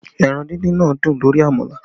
Ẹran díndín náà dùn lórí àmàlà